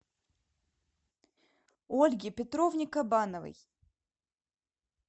ольге петровне кабановой